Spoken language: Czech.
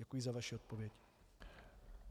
Děkuji za vaši odpověď.